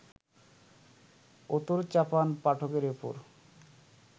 উতোর-চাপান পাঠকের ওপর